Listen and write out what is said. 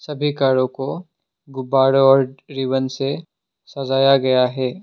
सभी कारों को गुब्बारों और रीबन से सजाया गया है।